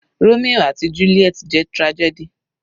Romio àti juliet jẹ́ tragedy.